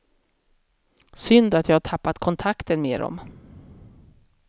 Synd att jag har tappat kontakten med dom.